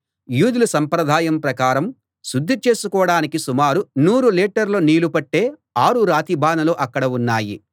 యూదుల సంప్రదాయం ప్రకారం శుద్ధి చేసుకోడానికి సుమారు నూరు లీటర్ల నీళ్ళు పట్టే ఆరు రాతి బానలు అక్కడ ఉన్నాయి